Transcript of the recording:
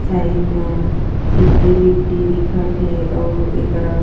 side मा गिट्टी विट्टी दिखत थे अउ ऐकरा